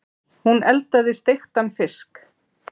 Hún eldaði steiktan fisk.